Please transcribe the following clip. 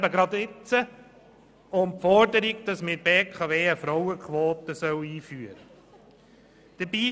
Aktuell ist gerade die Forderung, dass in der BKW eine Frauenquote eingeführt werden soll.